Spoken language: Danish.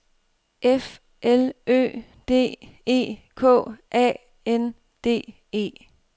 F L Ø D E K A N D E